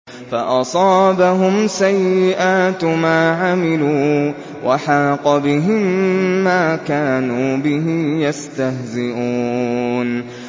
فَأَصَابَهُمْ سَيِّئَاتُ مَا عَمِلُوا وَحَاقَ بِهِم مَّا كَانُوا بِهِ يَسْتَهْزِئُونَ